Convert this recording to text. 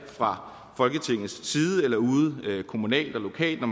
fra folketingets side eller ude kommunalt og lokalt når